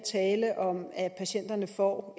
at patienterne får